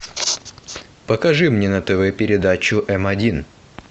покажи мне на тв передачу эм один